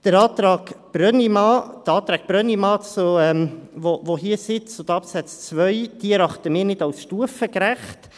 Die Anträge Brönnimann, die uns hier zu Absatz 2 vorliegen, erachten wir als nicht stufengerecht.